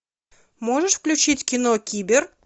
можешь включить кино кибер